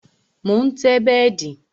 Mo ń tẹ́ bẹ́dì